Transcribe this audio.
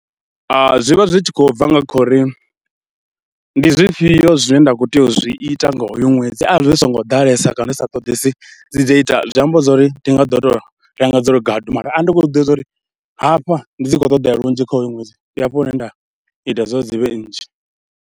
Zwi vha zwi tshi khou bva nga kha uri ndi zwifhio zwine nda khou tea u zwi ita nga hoyo ṅwedzi, arali zwi songo ḓalesa kana zwi sa ṱoḓesi dzi data zwi amba zwo ri thi nga ḓo tou renga dza uri gadu, mara arali ndi khou zwi ḓivha zwa uri hafha ndi dzi khou ṱoḓea lunzhi kha hoyu ṅwedzi ndi hafha hune nda ita zwa uri dzi vhe nnzhi.